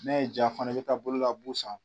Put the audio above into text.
Ne ye ja fana e be taa bolo la bu san